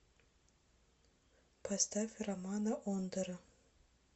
поставь романа ондара